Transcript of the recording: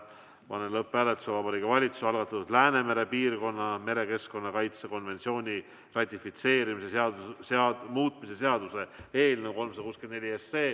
Panen lõpphääletusele Vabariigi Valitsuse algatatud Läänemere piirkonna merekeskkonna kaitse konventsiooni ratifitseerimise seaduse muutmise seaduse eelnõu 364.